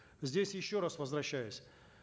здесь еще раз возвращаюсь